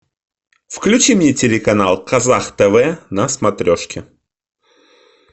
включи мне телеканал казах тв на смотрешке